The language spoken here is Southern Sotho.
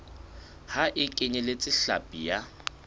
ha e kenyeletse hlapi ya